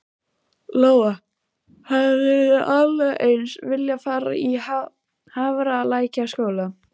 Lóa: Hefðirðu alveg eins viljað fara í Hafralækjarskóla?